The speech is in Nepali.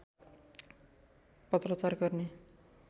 पत्राचार गर्ने